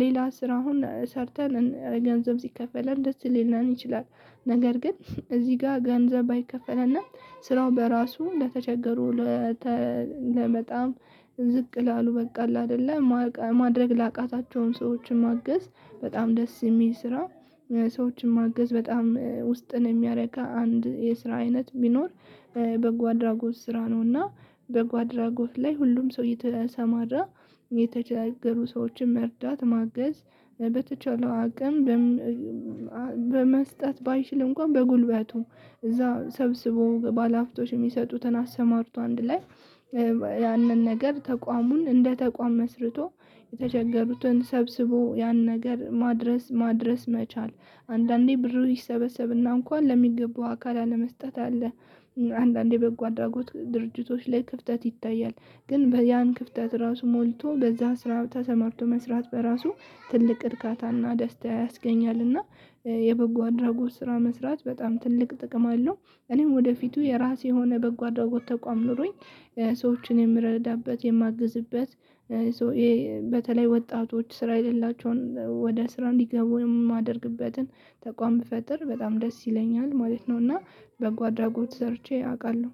ሌላ ስራውን ሰርተን ገንዘብ ሲከፈልን ደስ ሊለን ይችላል። ነገር ግን እዚህ ጋር ገንዘብ ባይከፈልና ስራው በራሱ ለተቸገሩ ለበጣም ዝቅ ላሉ በቃ አለ አይደለ ማድረግ ላቃታቸውን ሰዎችን ማገዝ በጣም ደስ የሚል ስራ። ሰዎችን ማገዝ በጣም ውስጥን የሚያረካ አንድ የስራ አይነት ቢኖር። በጓ አድራጎት ስራ ነውና በጓ አድራጎት ላይ ሁሉም ሰው እየተሰማራ የተቸገሩ ሰዎችን መርዳት ማገዝ በተቻለው አቅም። በ መስጠት ባይችል እንኳን በጉልበቱ እዛ ሰብስቦ ባለሀብቶች የሚሰጡትን አሰማርቶ አንድ ላይ ያንን ነገር ተቋሙን እንደ ተቋም መስርቶ የተቸገሩትን ሰብስቦ ያን ነገር ማድረስ ማድረስ መቻል። አንዳንዴ ብሩ ይሰበሰብና እንኳን ለሚገባው አካል አለመሰጠት አለ። አንዳንዴ በጎ አድራጎት ድርጂቶች ላይ ክፍተት ይታያል። ግን ያን ክፍተት ራሱ ሞልቶ በዛ ስራ ተሰማርቶ መስራት በራሱ ትልቅ እርካታና ደስታ ያስገኛልና። የበጎ አድራጎት ስራ መስራት በጣም ትልቅ ጥቅም አለው። እኔም ወደፊቱ የራሴ የሆነ በጎ አድራጎት ተቋም ኖሮኝ ሰዎችን የምረዳበት የማግዝበት። በተለይ ወጣቶች ስራ የሌላቸውን ወደ ስራ እንዲገቡ የማደርግበትን ተቋም ብፈጥር በጣም ደስ ይለኛል ማለት ነውና። በጓ አድራጎት ሰርቼ አውቃለሁ።